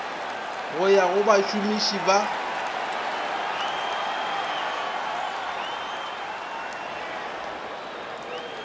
go ya go bašomiši ba